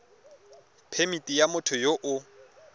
phemithi ya motho yo o